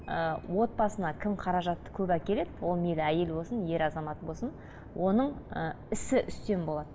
ыыы отбасына кім қаражатты көп әкеледі ол мейлі әйел болсын ер азамат болсын оның ы ісі үстем болады